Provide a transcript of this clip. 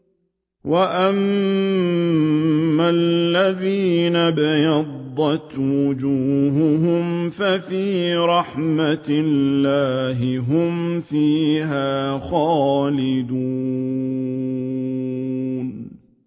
وَأَمَّا الَّذِينَ ابْيَضَّتْ وُجُوهُهُمْ فَفِي رَحْمَةِ اللَّهِ هُمْ فِيهَا خَالِدُونَ